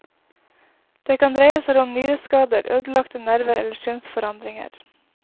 Det kan dreie seg om nyreskader, ødelagte nerver eller synsforandringer.